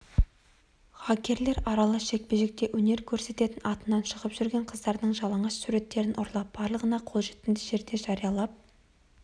хакерлер аралас жекпе-жекте өнер көрсететін атынан шығып жүрген қыздардың жалаңаш суреттерін ұрлап барлығына қолжетімді жерлерде жариялап